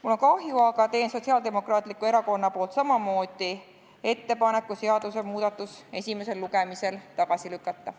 Mul on kahju, aga teen Sotsiaaldemokraatliku Erakonna poolt samamoodi ettepaneku seadusemuudatus esimesel lugemisel tagasi lükata.